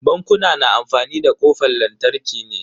Bankuna na amfani da kofan lantarki ne.